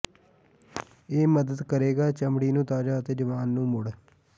ਇਹ ਮਦਦ ਕਰੇਗਾ ਚਮੜੀ ਨੂੰ ਤਾਜ਼ਾ ਅਤੇ ਜਵਾਨ ਨੂੰ ਮੁੜ